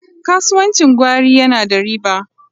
Kasuwancin gwari yana da riba.